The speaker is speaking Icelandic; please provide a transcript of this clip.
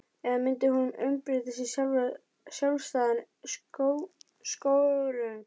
Eða myndi hún umbreytast í sjálfstæðan skörung?